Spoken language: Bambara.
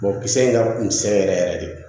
kisɛ in ka kunsɛ yɛrɛ yɛrɛ de